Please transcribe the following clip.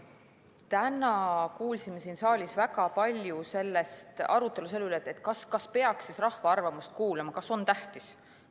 Täna kuulsime siin saalis väga palju arutamist selle üle, kas peaks rahva arvamust kuulama, kas see on tähtis.